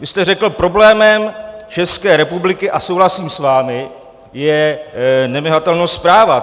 Vy jste řekl: problémem České republiky - a souhlasím s vámi - je nevymahatelnost práva.